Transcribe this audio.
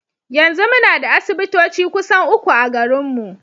Yanzu muna da asibitoci kusan uku a garinmu.